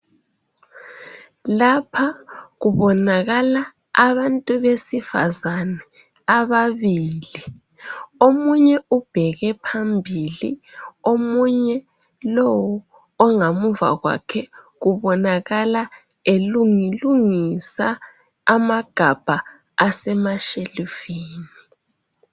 Lapha kubonakala abantu besifazane ababili. Omunye ubheke phambili omunye lowu ongamuva kwakhe, kubonakala elungilungisa amagabha asemashelufini.